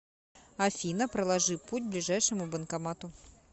афина проложи путь к ближайшему банкомату